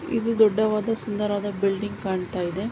ಇದು ದೊಡ್ಡವಾದ ಸುಂದರವಾದ ಬಿಲ್ಡಿಂಗ್ ಕಾಣ್ತಾಯಿದೆ.